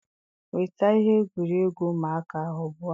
Nweta ihe egwuregwu ụmụaka ahụ ugbu a.